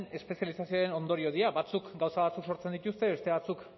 espezializazioaren ondorio dira batzuk gauza batzuk sortzen dituzte beste batzuk